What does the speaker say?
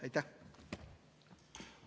Aitäh!